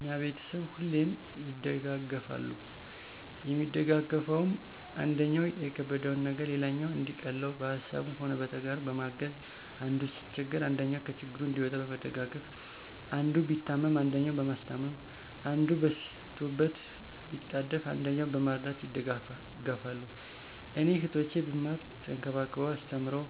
የኛ ቤተሰብ ሁሌም ይደጋገፋል የሚደጋገፈዉም, አንደኛዉ የከበደዉን ነገር ሌላኛዉ እንዲቀለዉ በሀሳብም ሆነ በተግባር በማገዝ፣ አንዱ ሲቸገር አንደኛዉ ከችግሩ እንዲወጣ በመደጋገፍ፣ አንዱ ቢታመም አንደኛዉ በማስታመም፣ አንዱ በስቶበት ቢጣደፍ አንደኛዉ በመርዳት ይደጋገፋሉ። እኔ "እህቶቼ ብማር ተንከባክበዉ አስተምረዉ